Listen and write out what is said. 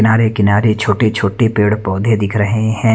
नारे किनारे छोटे छोटे पेड़ पौधे दिख रहे हैं।